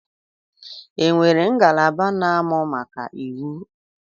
E nwere ngalaba na-amụ maka iwu?